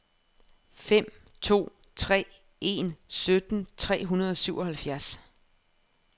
fem to tre en sytten tre hundrede og syvoghalvfjerds